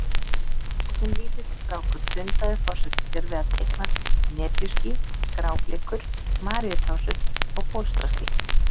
Og sem lítill strákur dundaði forsetinn sér við að teikna netjuský, gráblikur, maríutásur og bólstraský.